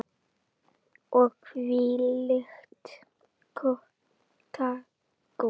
Og hvílíkt kakó.